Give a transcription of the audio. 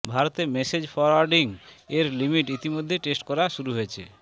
ভারতে message forwarding এর limit ইতিমধ্যেই টেস্ট করা শুরু হয়েছে